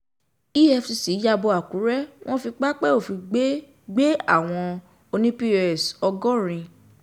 efcc ya bo akure wọn fi pápẹ́ òfin gbé gbé àwọn oní pọ́s ọgọ́rin